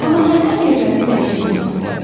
Amma hərdən yerlərini dəyişə bilməzlər?